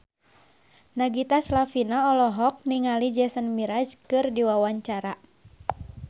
Nagita Slavina olohok ningali Jason Mraz keur diwawancara